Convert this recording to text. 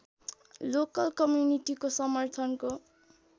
local कम्युनिटीको समर्थनको